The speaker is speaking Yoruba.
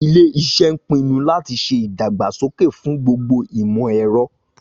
Ilé iṣẹ́ ń pinu láti ṣe ìdàgbàsókè fún gbogbo ìmọ̀ ẹ̀rọ